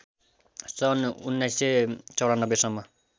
सन् १९९४ सम्म